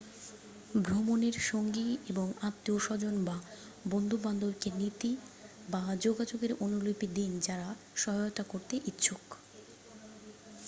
ভ্রমণের সঙ্গী এবং আত্মীয়স্বজন বা বন্ধুবান্ধবকে নীতি / যোগাযোগের অনুলিপি দিন যারা সহায়তা করতে ইচ্ছুক